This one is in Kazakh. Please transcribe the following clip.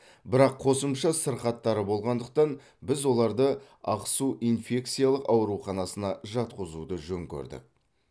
бірақ қосымша сырқаттары болғандықтан біз оларды ақсу инфекциялық ауруханасына жатқызуды жөн көрдік